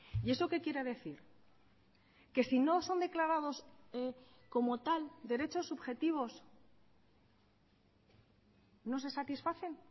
y eso qué quiere decir que si no son declarados como tal derechos subjetivos no se satisfacen